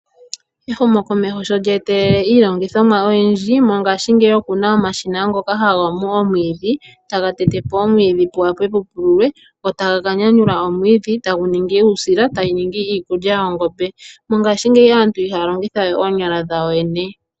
Ehumokomeho sho lyeetelele iilongithomwa oyindji mongaashingeyi okuna omashina ngoka haga mu omwiidhi tagu tetepo omwiidhi opo pupululwe nokunyanyula wo omwiidhi gu ninge uusila onga iikulya yoongombe mongaashingeyi aantu ihaya longitha we oonyala dhawo.